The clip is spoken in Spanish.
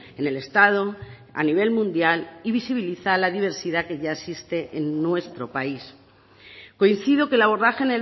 en el estado a nivel mundial y visibiliza la diversidad que ya existe en nuestro país coincido que el abordaje